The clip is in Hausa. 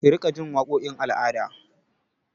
Ki riƙa ji waƙokin al'ada!